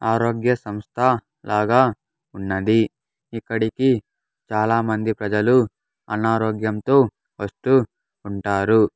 ఆరోగ్య సంస్థ లాగా ఉన్నది ఇక్కడికి చాలామంది ప్రజలు అనారోగ్యంతో వస్తు ఉంటారు.